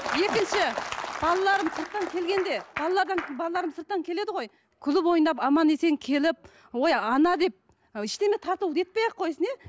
екінші балаларым сырттан келгенде балалардан балаларым сырттан келеді ғой күліп ойнап аман есен келіп ой ана деп ештеңе тарту не етпей ақ қойсын иә